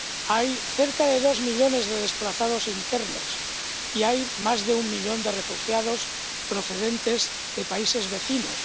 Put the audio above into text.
Hay cerca de dos millones de desplazados internos y hay más de un millón de refugiados procedentes de países vecinos.